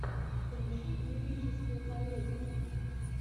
включи лирическую комедию